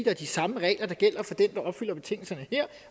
er de samme regler der gælder for den der opfylder betingelserne her